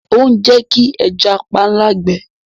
Ó ń Jẹ́ kí ẹja panla gbẹ.